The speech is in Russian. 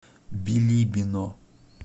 билибино